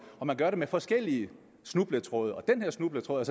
man gør det med forskellige snubletråde og den her snubletråd